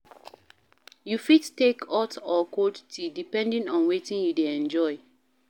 You fit take hot or cold tea depending on wetin you dey enjoy